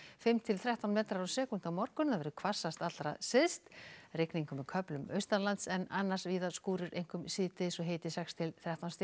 fimm til þrettán metrar á sekúndu á morgun hvassast allra syðst rigning með köflum en annars víða skúrir einkum síðdegis hiti sex til þrettán stig